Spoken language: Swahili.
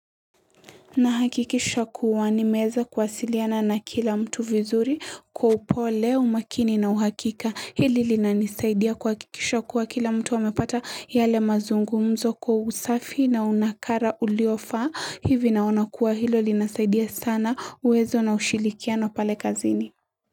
Nahakikisha kuwanimeeza kwasiliana na kila mtu vizuri kwa upole umakini na uhakika hili linanisaidia kuhakikisha kuwa kila mtu wamepata yale mazungumzo kwa usafi na unakara uliofa hivi naona kuwa hilo linasaidia sana uwezo na ushilikiano pale kazini.